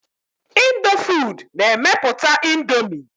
Indofood na-emepụta Indomie.